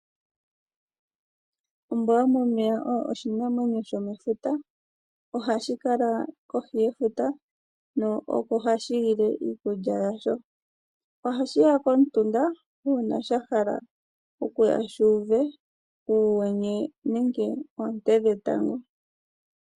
Ombwa yomomeya oyo oshinamwenyo shomefuta .Ohashi kala kohi yefuta oko hashi lile iikulya yasho. Ohashi ya komutunda una shahala okuya shu uve uyenye nenge onte dhetango .